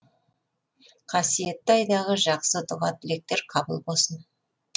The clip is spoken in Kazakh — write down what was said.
қасиетті айдағы жақсы дұға тілектер қабыл болсын